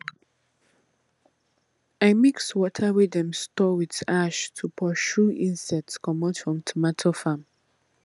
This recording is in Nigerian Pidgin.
i mix water wey dem store with ash to pursue insects komot from tomato farm